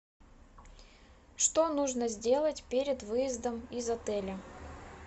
что нужно сделать перед выездом из отеля